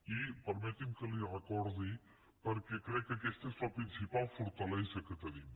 i permeti’m que li ho recordi perquè crec aquesta és la principal fortalesa que tenim